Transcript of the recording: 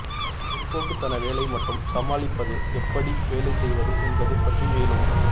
பிற்போக்குத்தன வேலை மற்றும் சமாளிப்பது எப்படி வேலை செய்வது என்பது பற்றி மேலும்